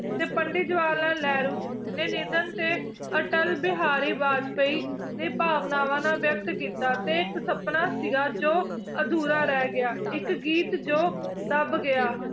ਤੇ ਪੰਡਿਤ ਜਵਾਹਰ ਲਾਲ ਨਹਿਰੂ ਨੇ ਨਿੱਧਨ ਤੇ ਅਟਲ ਬਿਹਾਰੀ ਬਾਜਪਾਈ ਨੇ ਭਾਵਨਾਵਾਂ ਨਾਲ ਵਿਅਕਤ ਕੀਤਾ ਤੇ ਇੱਕ ਸਪਨਾ ਸੀਗਾ ਜੋ ਅਧੂਰਾ ਰਹਿ ਗਿਆ, ਇੱਕ ਗੀਤ ਜੋ ਦੱਬ ਗਿਆ